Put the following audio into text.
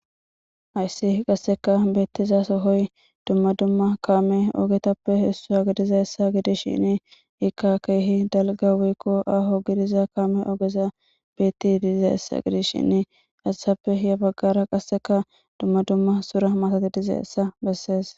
Hayssi qasseka beettiza sohoy dumma dumma kaame ogetappe isssu ha gidiza essa gidis shini ikka keehi dalga weykko aho gidiza kaame ogeza beetti diize hessa gidish shin asasappe ya baggara qasseka dumma dumma sura matati dize essa bessees.